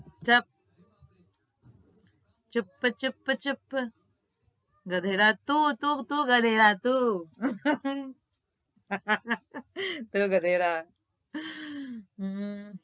ચુપ ચુપ ચુપ ચુપ ગધેડા તું તું તું ગધેડા તું તું ગધેડા